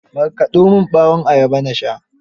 Markaɗo min ɓawon ayaba na sha.